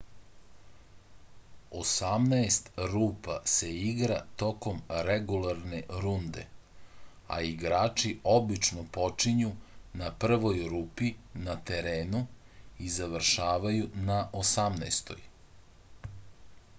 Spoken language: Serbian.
osamnaest rupa se igra tokom regularne runde a igrači obično počinju na prvoj rupi na terenu i završavaju na osamnaestoj